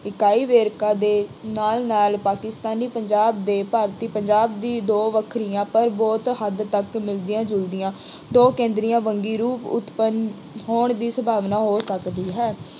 ਇਕਾਈ ਵੇਰਕਾ ਦੇ ਨਾਲ ਨਾਲ ਪਾਕਿਸਤਾਨੀ ਪੰਜਾਬ ਦੇ ਭਾਰਤੀ ਪੰਜਾਬ ਦੀ ਦੋ ਵੱਖਰੀਆਂ, ਪਰ ਬਹੁਤ ਹੱਦ ਤੱਕ ਮਿਲਦੀਆਂ ਜੁਲਦੀਆ, ਦੋ ਕੇਂਦਰੀਆਂ ਵੰਨਗੀ ਰੂਪ ਉਤਪੰਨ ਹੋਣ ਦੀ ਸੰਭਾਵਨਾ ਹੋਰ ਵੱਧ ਗਈ ਹੈ।